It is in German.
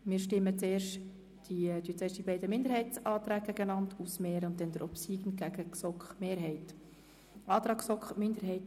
Wir stellen zuerst die beiden Minderheitsanträge einander gegenüber und dann den obsiegenden dem Antrag der GSoK-Mehrheit.